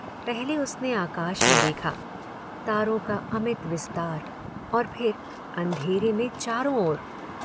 पहले उसने आकाश में देखा, तारों का अमित विस्तार, और फिर अंधेरे में चारों ओर।